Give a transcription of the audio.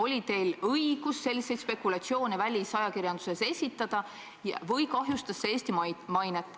Oli teil õigus selliseid spekulatsioone välisajakirjanduses esitada või kahjustas see Eesti mainet?